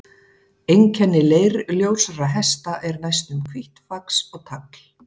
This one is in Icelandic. Einkenni leirljósra hesta er næstum hvítt fax og tagl.